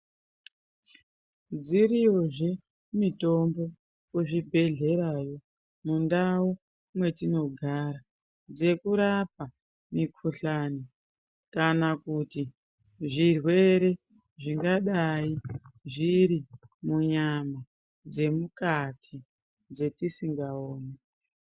Dziriyozve mitombo kuzvibhedhlerayo, mundau mwetinogara dzekurapa mikhuhlani, kana kuti zvirwere zvingadai zviri munyama dzemukati dzetisingaoni.